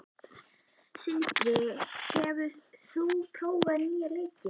Sindri, hefur þú prófað nýja leikinn?